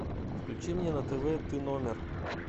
включи мне на тв т номер